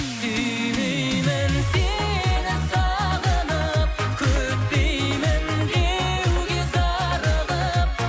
сүймеймін сені сағынып күтпеймін деуге зарығып